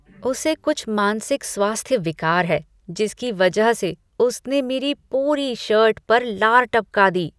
उसे कुछ मानसिक स्वास्थ्य विकार है जिसकी वजह से उसने मेरी पूरी शर्ट पर लार टपका दी।